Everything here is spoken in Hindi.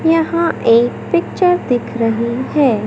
यहां एक पिक्चर दिख रही है।